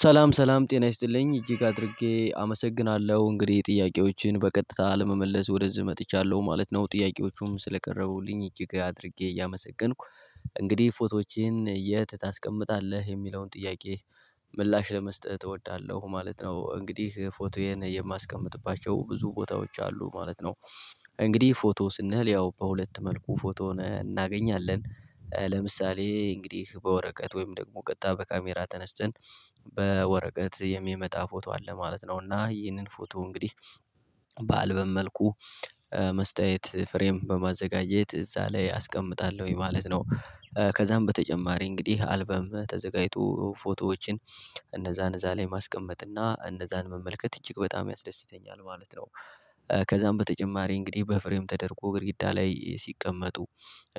ሰላም ሰላም ጤና ይስጥልኝ እጅግ ጋር አድርጌ አመሰግናለሁ እንግዲህ ጥያቄዎችን በቀጥታ ለመመለስ ወደዚህ መጥቻለሁ ማለት ነው ጥያቄዎቹም ስለቀረቡልኝ እጅግ አድርጌ ያመሰገንኩ እንግዲህ ፎቶዎችን የት ታስቀምጣለህ የሚለውን ጥያቄ ምላሽ ለመስጠት እወዳለሁ። ማለት ነው እንግዲህ ፎቶዬን የማስቀምጥባቸው ብዙ ቦታዎች አሉ ማለት ነው። እንግዲህ ፎቶ ስንል ያው በሁለት መልኩ ፎቶን እናገኛለን። ለምሳሌ እንግዲህ በወረቀት ወይም ደግሞ ቀጣይ በካሜራ ተነስተን በወረቀት የሚመጣ ፎቶ አለ ማለት ነው። እና ይህንን ፎቶ እንግዲህ በአልበም መልኩ መስተያየት ፍሬም በማዘጋጀት እዛ ላይ አስቀምጣለሁኝ ማለት ነው። ከዛም በተጨማሪ እንግዲህ አልበም ተዘጋጅቶ ፎቶዎችን እነዛን እዛ ላይ ማስቀመጥና እነዛን መመልከት እጅግ በጣም ያስደስተኛል ማለት ነው። ከዛም በተጨማሪ እንግዲህ በፍሬም ተደርጎ ግርጊዳ ላይ ሲቀመጡ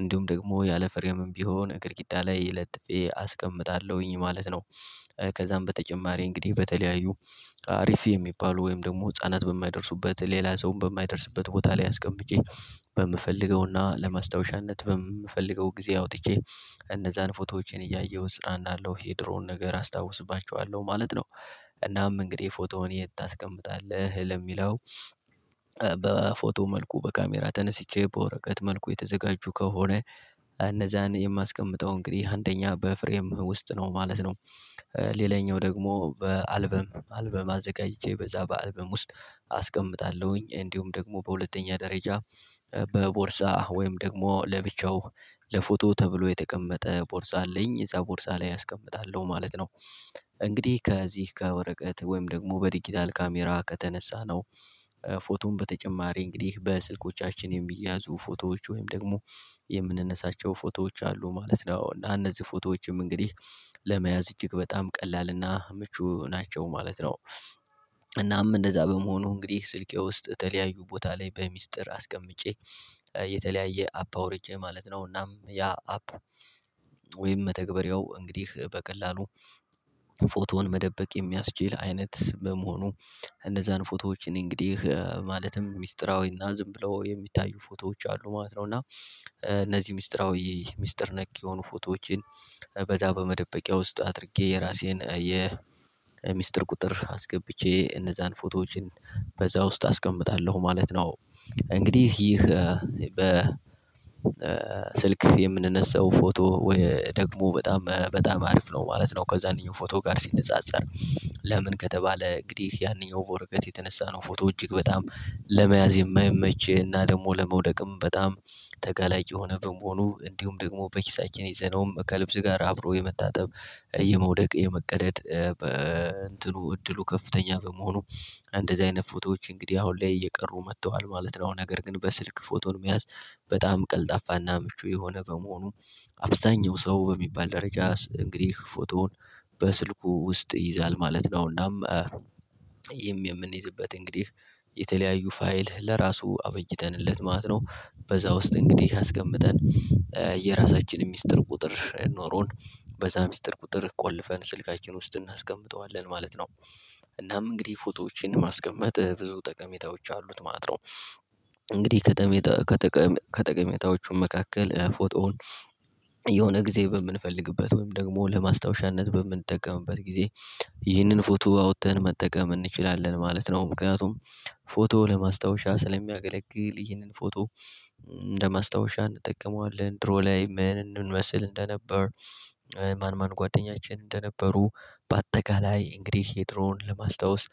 እንዲሁም ደግሞ ያለ ፍሬም ቢሆን እግርግዳ ላይ ለጥፌ አስቀምጣለሁኝ ማለት ነው። ከዛም በተጨማሪ እንግዲህ በተለያዩ አሪፍ የሚባሉ ወይም ደግሞ ህፃናት በማይደርሱበት ሌላ ሰውም በማይደርስበት ቦታ ላይ አስቀምጬ በምፈልገውና ለማስታወሻነት በምፈልገው ጊዜ አውጥቼ እነዛን ፎቶዎችን እያየሁት ስራ እንዳለው የድሮውን ነገር አስታውስባቸዋለሁ ማለት ነው። እናም እንግዲህ ፎቶውን የት ታስቀምጣለህ ለሚለው? በፎቶ መልኩ በካሜራ ተነስቼ በወረቀት መልኩ የተዘጋጁ ከሆነ እነዛን የማስቀምጠው እንግዲህ አንደኛ በፍሬም ውስጥ ነው ማለት ነው። ሌላኛው ደግሞ በአልበም አልበም አዘጋጅቼ በዛ በአልበም ውስጥ አስቀምጣለሁኝ እንዲሁም ደግሞ በሁለተኛ ደረጃ በቦርሳ ወይም ደግሞ ለብቻው ለፎቶ ተብሎ የተቀመጠ ቦርሳ አለኝ የዛ ቦርሳ ላይ አስቀምጣለሁ ማለት ነው። እንግዲህ ከዚህ ከወረቀት ወይም ደግሞ በዲጂታል ካሜራ ከተነሳነው ፎቶም በተጨማሪ እንግዲህ በስልኮቻችን የሚያዙ ፎቶዎች ወይም ደግሞ የምንነሳቸው ፎቶዎች አሉ ማለት ነው። እና እነዚህ ፎቶዎችም እንግዲህ ለመያዝ እጅግ በጣም ቀላል እና ምቹ ናቸው ማለት ነው። እናም እንደዛ በመሆኑ እንግዲህ ስልኬ ውስጥ ተለያዩ ቦታ ላይ በሚስጥር አስቀምጬ የተለያየ አፕ አወርጄ ማለት ነው። እናም ያ አፕ ወይም መተግበሪያው እንግዲህ በቀላሉ ፎቶውን መደበቅ የሚያስችል አይነት በመሆኑ እነዛን ፎቶዎች እኔ እንግዲህ ማለትም ሚስጥራዊና ዝም ብለው የሚታዩ ፎቶዎች አሉ ማለት ነው። እና እነዚህ ሚስጥራዊ ሚስጥር ነክ የሆኑ ፎቶዎችን በዛ በመደበቂያ ውስጥ አድርጌ የራሴን የሚስጥር ቁጥር አስገብቼ እነዛን ፎቶዎችን በዛ ውስጥ አስቀምጣለሁ ማለት ነው። እንግዲህ ይህ በ ስልክ የምንነሳው ፎቶ ወይ ደግሞ በጣም በጣም አሪፍ ነው ማለት ነው። ከዛንኛው ፎቶ ጋር ሲነጻጸር ለምን ከተባለ እንግዲህ ያንኛው በወረቀት የተነሳ ነው ፎቶ እጅግ በጣም ለመያዝ የማይመች እና ደግሞ ለመውደቅም በጣም ተገላጭ የሆነ በመሆኑ እንዲሁም ደግሞ በኪሳችን ይዘነውም ከልብስ ጋር አብሮ የመታጠብ የመውደቅ የመቀደድ በእንትኑ እድሉ ከፍተኛ በመሆኑ እንደዚህ አይነት ፎቶዎች እንግዲህ አሁን ላይ እየቀሩ መጥተዋል ማለት ነው። ነገር ግን በስልክ ፎቶን መያዝ በጣም ቀልጣፋና ምቹ የሆነ በመሆኑ አብዛኛው ሰው በሚባል ደረጃ እንግዲህ ፎቶውን በስልኩ ውስጥ ይይዛል ማለት ነው። እናም ይህም የምንይዝበት እንግዲህ የተለያዩ ፋይል ለራሱ አበጅተንለት ማለት ነው በዛ ውስጥ እንግዲህ አስቀምጠን የራሳችንን ሚስጥር ቁጥር ኖሮን በዛ ሚስጥር ቁጥር ቆልፈን ስልካችን ውስጥ እናስቀምጠዋለን ማለት ነው። እናም እንግዲህ ፎቶዎችን ማስቀመጥ ብዙ ጠቀሜታዎች አሉት ማለት ነው። ከጥቅሜታዎቹ መካከል ፎቶውን የሆነ ጊዜ በምንፈልግበት ወይም ደግሞ ለማስታወሻነት በምንጠቀምበት ጊዜ ይህንን ፎቶ አውጥተን መጠቀም እንችላለን ማለት ነው። ምክንያቱም ፎቶ ለማስታወሻ ስለሚያገለግል ይህንን ፎቶ ለማስታወሻ እንጠቀመዋለን ድሮ ላይ ምን እንደምንመስል እንደነበር ማን ማን ጓደኛችን እንደነበሩ በአጠቃላይ እንግዲህ የድሮን ለማስታወስ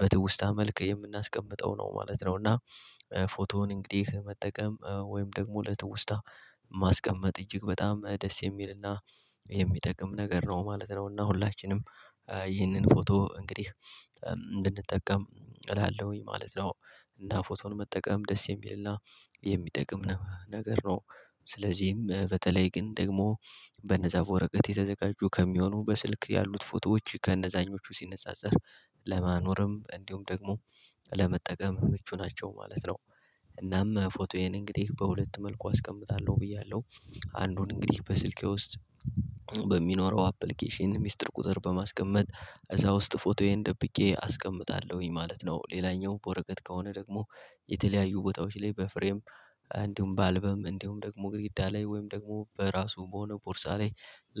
በትውስታ መልክ የምናስቀምጠው ነው ማለት ነው። እና ፎቶውን እንግዲህ መጠቀም ወይም ደግሞ ለትውስታ ማስቀመጥ እጅግ በጣም ደስ የሚልና የሚጠቅም ነገር ነው ማለት ነው። እና ሁላችንም ይህንን ፎቶ እንግዲህ እንድንጠቀም እላለሁኝ ማለት ነው። እና ፎቶን መጠቀም ደስ የሚልና የሚጠቅም ነገር ነው። ስለዚህም በተለይ ግን ደግሞ በነዛ ወረቀት የተዘጋጁ ከሚሆኑ በስልክ ያሉት ፎቶዎች ከእነዛኞቹ ሲነጻጸር ለማኖርም እንዲሁም ደግሞ ለመጠቀም ምቹ ናቸው ማለት ነው። እናም ፎቶዬን እንግዲህ በሁለት መልኩ አስቀምጣለሁ ብያለሁ አንዱን እንግዲህ በስልኬ ውስጥ በሚኖረው አፕሊኬሽን ሚስጥር ቁጥር በማስቀመጥ እዛ ውስጥ ፎቶዬን ደብቄ አስቀምጣለሁኝ ማለት ነው። ሌላኛው በወረቀት ከሆነ ደግሞ የተለያዩ ቦታዎች ላይ በፍሬም እንዲሁም በአልበም እንዲሁም ደግሞ ግድግዳ ላይ ወይም ደግሞ በራሱ በሆነ ቦርሳ ላይ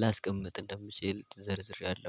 ላስቀምጥ እንደምችል ዘርዝሬያለሁ